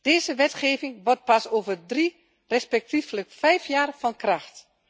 Deze wetgeving wordt pas over drie, respectievelijk vijf jaar van kracht.